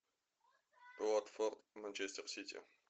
уотфорд манчестер сити